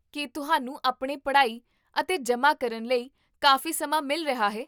ਕੀ ਤੁਹਾਨੂੰ ਆਪਣੀ ਪੜ੍ਹਾਈ ਅਤੇ ਜਮ੍ਹਾਂ ਕਰਨ ਲਈ ਕਾਫ਼ੀ ਸਮਾਂ ਮਿਲ ਰਿਹਾ ਹੈ?